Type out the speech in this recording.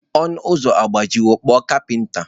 Ọnụ ụzọ agbajiwo, kpọọ kapinta.